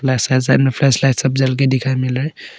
flashlight जल के दिखाई मिल रहा--